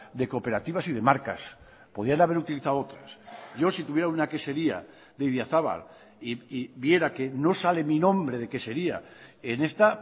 de cooperativas y de marcas podían haber utilizado otras yo si tuviera una quesería de idiazabal y viera que no sale mi nombre de quesería en esta